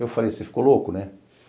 Eu falei, você ficou louco, né?